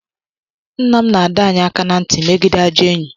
Nna m na-adọ anyị aka ná ntị megide ajọ enyi